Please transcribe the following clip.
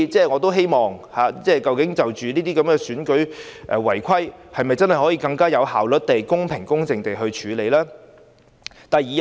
我希望就選舉違規情況，當局能更有效率地、公平公正地處理。